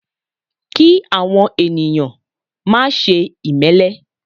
Kí àwọn ènìyàn máà ṣe ìmélé